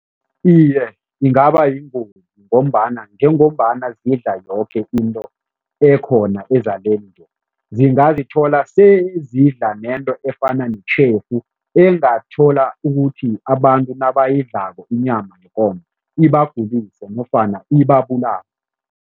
Iye, ingaba yingozi ngombana njengombana zidla yoke into ekhona ezaleni, zingazithola sezidla nento efana netjhefu engathola ukuthi abantu nabayidlako inyama yekomo ibagulise nofana ibabulale.